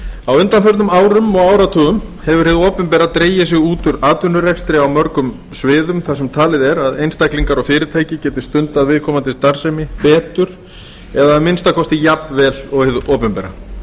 á undanförnum árum og áratugum hefur hið opinbera dregið sig út úr atvinnurekstri á mörgum sviðum þar sem talið er að einstaklingar og fyrirtæki geti stundað viðkomandi starfsemi betur eða að minnsta kosti jafn vel og hið opinbera